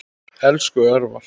Elsku Örvar.